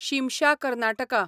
Shimsha Karnataka